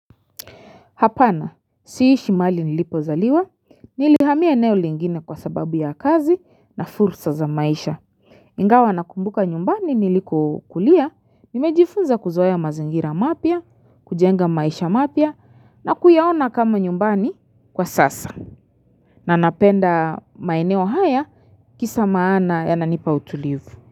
Hapana, siishi mali nilipo zaliwa, nilihamia eneo lingine kwa sababu ya kazi na fulsa za maisha Mingawa nakumbuka nyumbani niliku kulia, mimejifunza kuzoya mazingira mapya, kujenga maisha mapya, na kuyaona kama nyumbani kwa sasa na napenda maineo haya kisa maana yananipa utulivu.